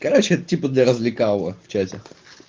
короче это типа для развлекалово в чате